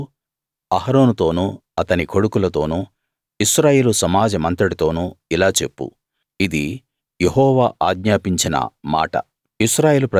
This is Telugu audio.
నువ్వు అహరోనుతోనూ అతని కొడుకులతోనూ ఇశ్రాయేలు సమాజమంతటితోనూ ఇలా చెప్పు ఇది యెహోవా ఆజ్ఞాపించిన మాట